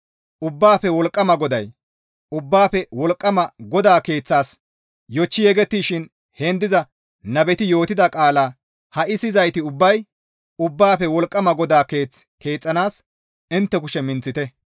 Ubbaafe Wolqqama GODAY, «Ubbaafe Wolqqama GODAA Keeththaas yochchi yegettishin heen diza nabeti yootida qaalaa ha7i siyizayti ubbay Ubbaafe Wolqqama GODAA Keeth keexxanaas intte kushe minththite.